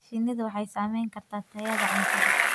Shinnidu waxay saamayn kartaa tayada cuntada.